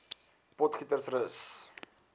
potgietersrus